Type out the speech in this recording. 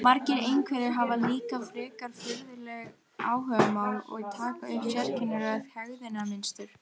Margir einhverfir hafa líka frekar furðuleg áhugamál og taka upp sérkennilegt hegðunarmynstur.